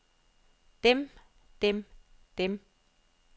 dem dem dem